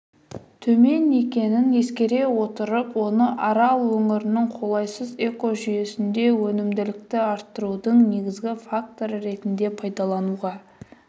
төмен екенін ескере отырып оны арал өңірінің қолайсыз экожүйесінде өнімділікті арттырудың негізгі факторы ретінде пайдалануға